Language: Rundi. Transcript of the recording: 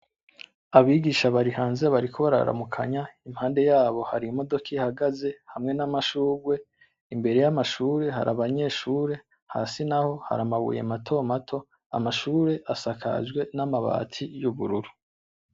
Abigisha bari hanze bariko bararamukanya impande yabo Hari imodoka ihagaze hamwe n'amashurwe, imbere y'amashure Hari abanyeshure hasi naho Hari amabuye mato mato ,amashure asakajwe n'amabati y'ubururu.